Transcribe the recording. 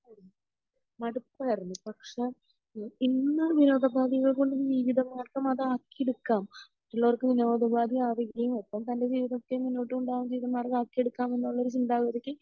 മടുപ്പായിരുന്നു പക്ഷെ ഇന്ന് വിനോദോപാദികൾ കൊണ്ട് ജീവിത മാർഗം അതാക്കിയെടുക്കാം മറ്റുള്ളവർക്ക് വിനോദോപാധി ആവുകയും ഒപ്പം തൻ്റെ ജീവിതത്തെ മുന്നോട്ട് കൊണ്ട് പോകാൻ ജീവിത മാർഗം ആക്കിയെടുക്കാം എന്നുള്ളൊരു ചിന്താഗതിക്ക്